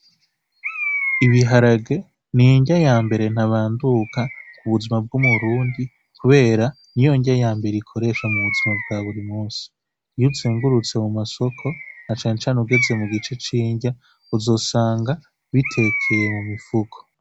Ibiharage ni inrya yambere ntabanduka ku buzima bw'umurundi kubera niyo nrya yambere ikoreshwa mu buzima bwa buri munsi, iyo uzungurutse mu masoko na cane cane ugeze mu gice c'inrya uzosanga bitekeye mu mifuko.